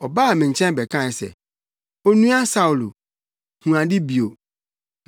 Ɔbaa me nkyɛn bɛkae se, ‘Onua Saulo, hu ade bio!’ ” Na hɔ ara mʼani buei.